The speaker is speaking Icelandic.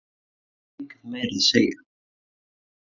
Það var ekki mikið meira að segja.